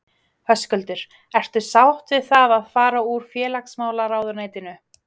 Höskuldur: Ertu sátt við það að fara úr félagsmálaráðuneytinu?